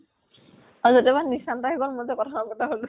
আৰু এতিয়া নিচান্ত ও গʼল আমাৰ কথাও পাতা হʼল ।